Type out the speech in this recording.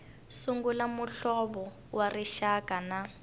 sungula muhlovo wa rixaka na